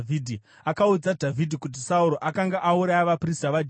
Akaudza Dhavhidhi kuti Sauro akanga auraya vaprista vaJehovha.